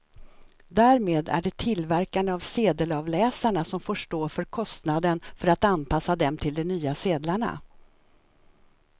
Därmed är det tillverkarna av sedelavläsarna som får stå för kostnaden för att anpassa dem till de nya sedlarna.